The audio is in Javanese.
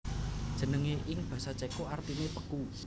Jenengé ing basa Céko artiné beku